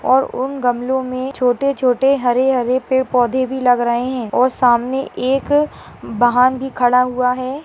--और उन गमलो मे छोटे छोटे हरे हरे पेड़-पौधे भी लग रहे है और सामने एक बहान भी खड़ा हुआ है।